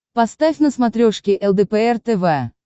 поставь на смотрешке лдпр тв